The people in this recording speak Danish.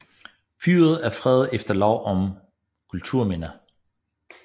Fyret er fredet efter lov om kulturminner